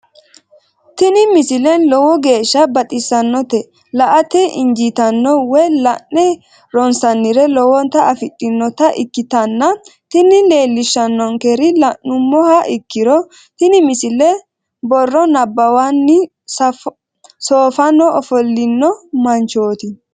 tini misile lowo geeshsha baxissannote la"ate injiitanno woy la'ne ronsannire lowote afidhinota ikkitanna tini leellishshannonkeri la'nummoha ikkiro tini misile borro nabbawanni soofaho ofollino manchooti.